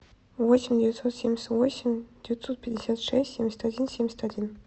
восемь девятьсот семьдесят восемь девятьсот пятьдесят шесть семьдесят один семьдесят один